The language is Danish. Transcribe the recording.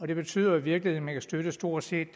det betyder i virkeligheden at man kan støtte stort set